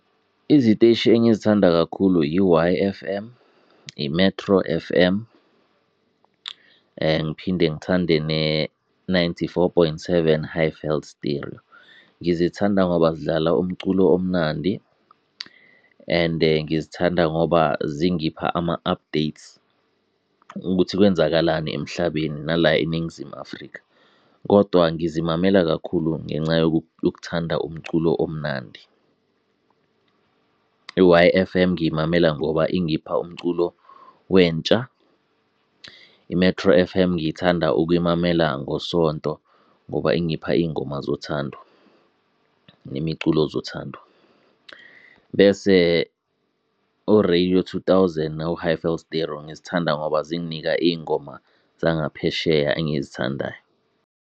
Iziteshi engizithanda kakhulu yi-Y_F_M, yi-Metro F_M, ngiphinde ngithande ne-Ninety-Four point Seven Highveld Stereo. Ngizithanda ngoba zidlala umculo omnandi, and ngizithanda ngoba zingipha ama-updates ukuthi kwenzakalani emhlabeni nala eNingizimu Afrika, kodwa ngizimamela kakhulu ngenca yokuthanda umculo omnandi. I-Y_F_M ngiyimamela ngoba ingipha umculo wentsha, i-Metro F_M ngithanda ukuyimamela ngoSonto ngoba ingipha iy'ngoma zothando nemiculo zothando bese o-Radio Two Thousand no-Highveld Stereo, ngizithanda ngoba zinginika iy'ngoma zangaphesheya engizithandayo.